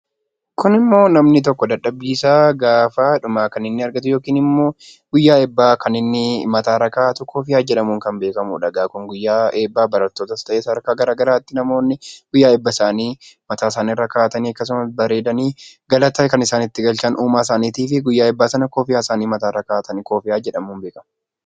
Kunimmoo namni tokko dadhabbiisaa gaafa dhumaa kan inni argatu yookiin immoo guyyaa eebbaa kan inni mataarra kaa'atu kofiyyaa jedhamuudhaan kan beekamudha egaa kun guyyaa eebbaa barattootas ta'ee sadarkaa garaagaraatti namoonni guyyaa eebbasaanii mataasaaniirra kaa'atanii akkasumas bareedanii galata kan isaan itti galchan uumaa isaaniitiif guyyaa eebbaa kofiyyaa isaanii mataarra kaawwatanii kofiyyaa jedhamuun beekama.